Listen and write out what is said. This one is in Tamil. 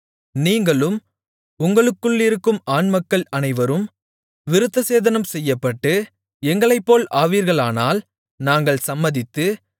நீங்களும் உங்களுக்குள்ளிருக்கும் ஆண்மக்கள் அனைவரும் விருத்தசேதனம் செய்யப்பட்டு எங்களைப்போல் ஆவீர்களானால் நாங்கள் சம்மதித்து